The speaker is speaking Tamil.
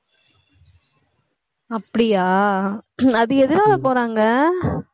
அப்படியா அது எதனால போறாங்க